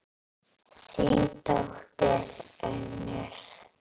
Þín dóttir, Unnur.